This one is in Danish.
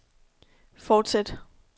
fortsæt